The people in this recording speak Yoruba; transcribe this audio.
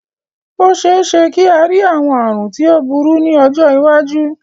Ó ṣeéṣe kí a rí àwọn àrùn tí ó burú ní ọjọ́ iwájú